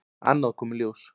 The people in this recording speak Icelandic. Annað kom í ljós.